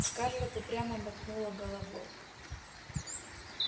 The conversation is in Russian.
скарлетт упрямо мотнула головой